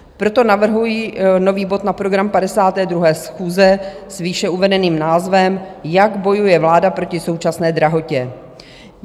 Proto navrhuji nový bod na program 52. schůze s výše uvedeným názvem Jak bojuje vláda proti současné drahotě.